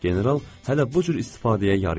General hələ bu cür istifadəyə yarıyırdı.